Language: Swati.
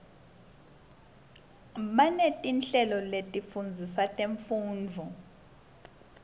banetinhlelo letifundzisa temfundvo